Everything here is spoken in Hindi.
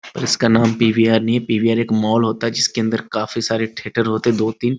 उसका नाम पी.वी.आर. नहीं पी.वी.आर एक मॉल होता हे । जिसके अंदर काफी सारे थियेटर होते हैदो तिन --